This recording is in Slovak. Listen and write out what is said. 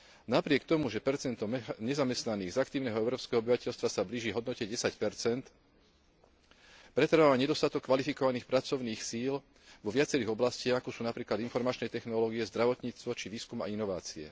Napriek tomu, že percento nezamestnaných z aktívneho európskeho obyvateľstva sa blíži k hodnote 10 pretrváva nedostatok kvalifikovaných pracovných síl vo viacerých oblastiach, ako sú napríklad informačné technológie, zdravotníctvo či výskum a inovácie.